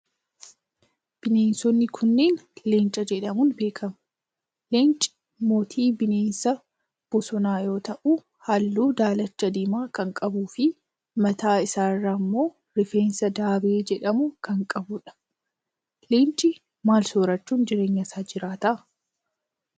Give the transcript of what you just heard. Bineensonni kunneen, leenca jedhamuun beekamu. Leencii mootii bineensa bosonaa yoo ta'u, haalluu daalacha diimaa kan qabuu fi mataa isaa irraa immoo rifeensa daabee jedhamu kan qabuu dha. Leenci maal soorachuun jireenya isaa jiraata?